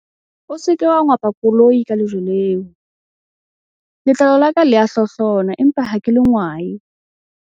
O se ke wa ngwapa koloi ka lejwe leo, letlalo la ka le a hlohlona empa ha ke le ngwae.